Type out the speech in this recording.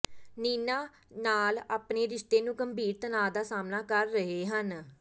ਨੀਨਾ ਨਾਲ ਆਪਣੇ ਰਿਸ਼ਤੇ ਨੂੰ ਗੰਭੀਰ ਤਣਾਅ ਦਾ ਸਾਹਮਣਾ ਕਰ ਰਹੇ ਹਨ